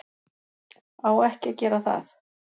Á ekki að gera það.